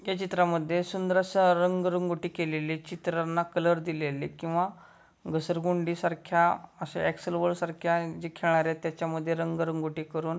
या चित्रामध्ये सुंदरस रंग रंगोटी केलेली चित्रांना कलर दिलेले किंवा घसर गुंडी सारख्या अश्या एक्सल वर्ड सारख्या त्याच्या मध्ये रंग रंगोटी करून--